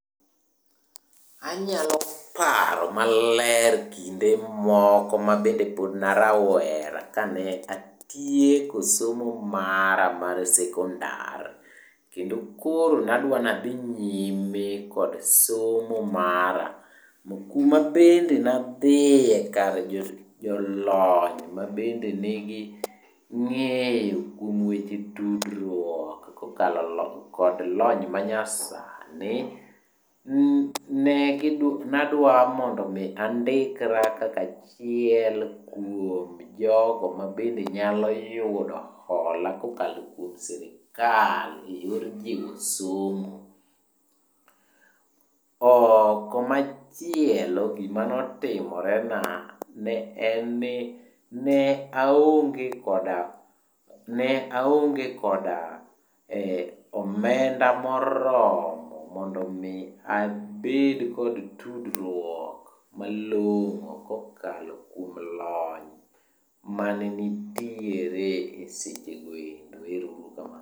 Anyalo paro maler kinde moko mabende pod na rawera kane atieko somo mara mar sekondar kendo koro nadwa nadhi nyime kod somo mara, kuma bende nadhie kar jolony mabende nigi ng'eyo kuom wehe tudruok kokalo kod lony manyasani. Nadwa mondo mi andikra kaka achiel kuom jogo mabende nyalo yudo hola kokalo kuom sirkal eyor jiwo somo. Komachielo gimane otimre na en ni ne aonge koda, ne aonge koda omenda moromo mondo mi abed kod tudruok malongo kokalo kuom lony mane nitiere seche goendo. Erouru kamano